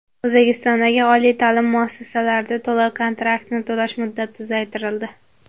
O‘zbekistondagi oliy ta’lim muassasalarida to‘lov-kontraktni to‘lash muddati uzaytirildi.